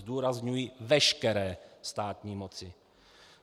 Zdůrazňuji veškeré státní moci.